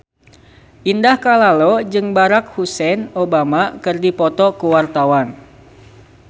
Indah Kalalo jeung Barack Hussein Obama keur dipoto ku wartawan